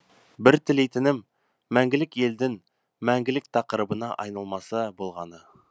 бір тілейтінім мәңгілік елдің мәңгілік тақырыбына айналмаса болғаны